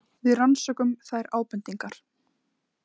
Við rannsökum þær ábendingar.